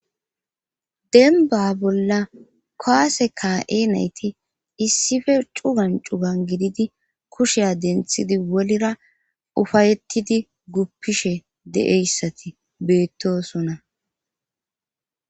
denba bolla koase ka7e nayti issife cugan cugan gididi kusheya denthidi wolira ufayettidi guppishe deeyssati beettosona